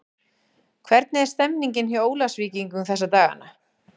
Hvernig er stemmningin hjá Ólafsvíkingum þessa dagana?